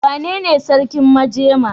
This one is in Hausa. Wanene sarkin majema?